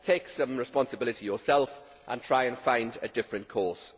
Take some responsibility yourself and try and find a different course.